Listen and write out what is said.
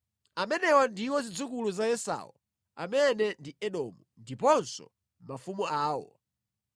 Amenewa ndiwo zidzukulu za Esau (amene ndi Edomu) ndiponso mafumu awo.